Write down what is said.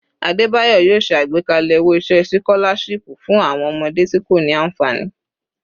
Adebayor yoo ṣe agbekalẹ owo-iṣẹ sikolashipu fun awọn ọmọde ti ko ni anfani